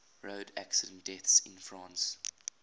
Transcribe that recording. road accident deaths in france